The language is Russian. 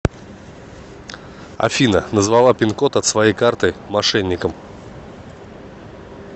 афина назвала пин код от своей карты мошенникам